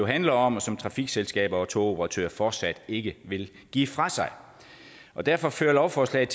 handler om og som trafikselskaber og togoperatører fortsat ikke vil give fra sig derfor fører lovforslaget